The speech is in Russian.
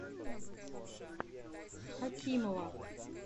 хакимова